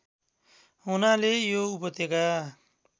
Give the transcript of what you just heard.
हुनाले यो उपत्यका